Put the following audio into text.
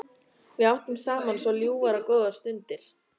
Við áttum saman svo ljúfar og góðar stundir.